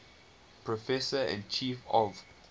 professor and chief of